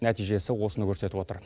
нәтижесі осыны көрсетіп отыр